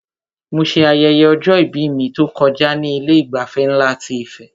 Mo ṣe ayẹyẹ ọjọ-ìbí mi tó kọjá ní Ilé ìgbafẹ́ nlá ti Ife